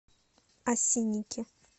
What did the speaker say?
осинники